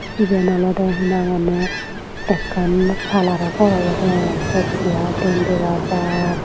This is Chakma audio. Ebin olode hinanghonne ekkan parlaro gor obode ai siyot chair diyen dega jar.